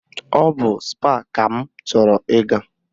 Ọ bụ Spáà ka m chọrọ ịga